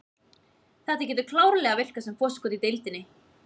Þetta getur klárlega virkað sem forskot í deildinni.